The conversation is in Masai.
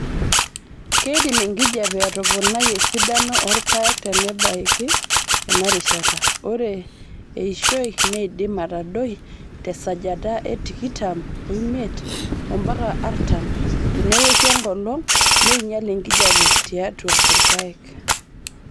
keidim enkijiape atoponai esidano orpaek tenebaiki enarishata (ore eishioi neidim atadoi tesajata etikitam omiet ompaka artam tenewoshu enkolong neinyial enkijiape tiatua irpaek).